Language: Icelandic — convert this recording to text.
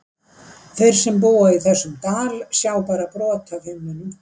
Þeir sem búa í þessum dal sjá bara brot af himninum.